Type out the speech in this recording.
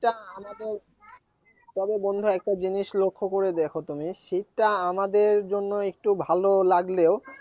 শীতটা আমাদের তবে বন্ধু একটা জিনিস লক্ষ্য করে দেখো তুমি শীতটা আমাদের জন্য একটু ভালো লাগলেও